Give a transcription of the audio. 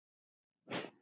Baldvin Búi.